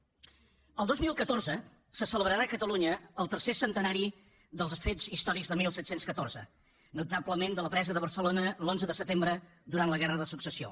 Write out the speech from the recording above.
el dos mil catorze se celebrarà a catalunya el tercer centenari dels fets històrics de disset deu quatre notablement de la presa de barcelona l’onze de setembre durant la guerra de successió